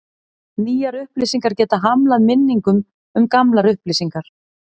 Nýjar upplýsingar geta hamlað minningum um gamlar upplýsingar.